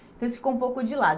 Então, isso ficou um pouco de lado.